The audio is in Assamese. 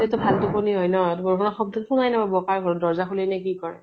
ভাল টোপনী হয় ন, ধৰ বা শব্দ শুনাই নাপাব কাৰ ঘৰত দৰ্জা খুলিলে কি কৰে।